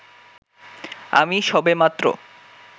আমি সবেমাত্র